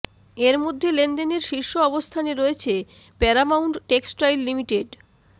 এর মধ্যে লেনদেনের শীর্ষ অবস্থানে রয়েছে প্যারামাউন্ট টেক্সটাইল লিমিটেড